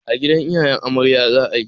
A gidan iyayen amarya za a yi.